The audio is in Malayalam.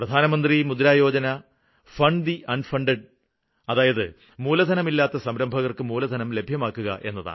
പ്രധാനമന്ത്രി മുദ്രയോജന ഫണ്ട് ദ് അണ്ഫണ്ടഡ് അതായത് മൂലധനമില്ലാത്ത സംരംഭകര്ക്ക് മൂലധനം ലഭ്യമാക്കുക എന്നതാണ്